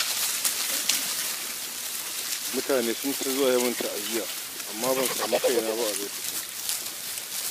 Mutane sun ta zuwa yi min ta'aziya, amma ban samu kaina ba a lokacin.